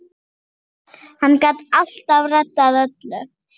Hann gat alltaf reddað öllu.